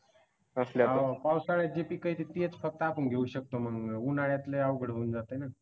पावसाळ्यात जी पीक येतील तेच फक्त आपण घेऊ शकतो मग मग उन्हाळ्यात लय अवघड होऊन जाताय ना.